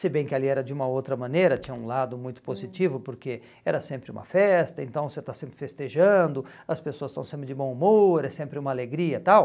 Se bem que ali era de uma outra maneira, tinha um lado muito positivo, hum, porque era sempre uma festa, então você está sempre festejando, as pessoas estão sempre de bom humor, é sempre uma alegria e tal.